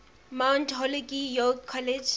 mount holyoke college